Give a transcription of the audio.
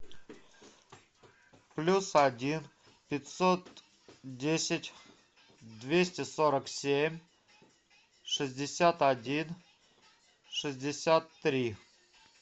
плюс один пятьсот десять двести сорок семь шестьдесят один шестьдесят три